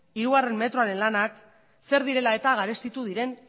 hiru metroaren lanak zer direla eta garestitu diren